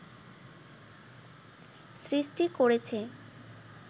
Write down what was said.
সৃষ্টি করেছে